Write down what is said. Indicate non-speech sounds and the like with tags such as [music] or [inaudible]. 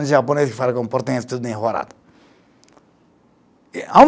Um japonês que fala [unintelligible] tudo enrolado [unintelligible]